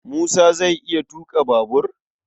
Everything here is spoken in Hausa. Musa zai iya tuƙa babur?